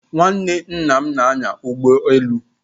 Nwanne nna m na-anya ụgbọ elu.